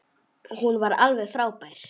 Hún var alveg frábær.